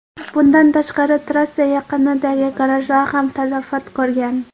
Bundan tashqari, trassa yaqinidagi garajlar ham talafot ko‘rgan.